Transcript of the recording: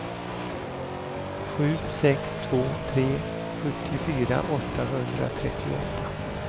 sju sex två tre sjuttiofyra åttahundratrettioåtta